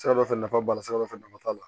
Sira dɔ fɛ nafa b'a la sira dɔ fɛ nafaba b'a la